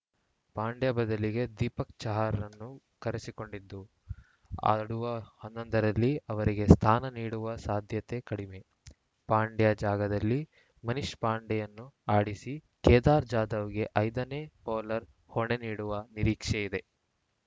ಪಾಂಡ್ಯ ಬದಲಿಗೆ ದೀಪಕ್‌ ಚಾಹರ್‌ರನ್ನು ಕರೆಸಿಕೊಂಡಿದ್ದು ಆಡುವ ಹನ್ನೊಂದರಲ್ಲಿ ಅವರಿಗೆ ಸ್ಥಾನ ನೀಡುವ ಸಾಧ್ಯತೆ ಕಡಿಮೆ ಪಾಂಡ್ಯ ಜಾಗದಲ್ಲಿ ಮನೀಶ್‌ ಪಾಂಡೆಯನ್ನು ಆಡಿಸಿ ಕೇದಾರ್‌ ಜಾಧವ್‌ಗೆ ಐದ ನೇ ಬೌಲರ್‌ ಹೊಣೆ ನೀಡುವ ನಿರೀಕ್ಷೆ ಇದೆ